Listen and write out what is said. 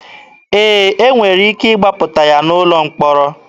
Ee, e nwere ike ịgbapụta ya n'ụlọ mkpọrọ.